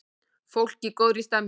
Fólk í góðri stemningu!